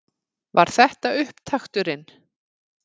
Var þetta upptakturinn?